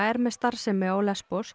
er með starfsemi á